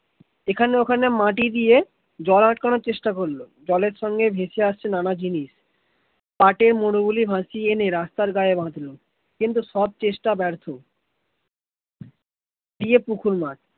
এখানে ওখানে মাটি দিয়ে জল আটানোর চেষ্টা করল জলের সঙ্গে ভেসে আসছে নানা জিনিস তাতে গরুগুলি বসিয়ে এনে রাস্তার গায়ে বলধা, কিন্তু সব চেষ্টা ব্যর্থ